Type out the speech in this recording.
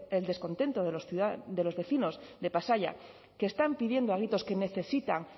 el descontento de los ciudadanos de los vecinos de pasaia que están pidiendo a gritos que necesitan